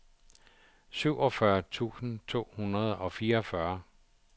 syvogfyrre tusind to hundrede og fireogfyrre